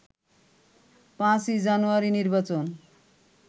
৫ই জানুয়ারির নির্বাচন